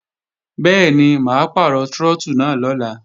Bẹ́ẹ̀ni, mà á pàrọ̀ trọ́tù náà lọ́la